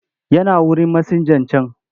Yana wurin masinjan can.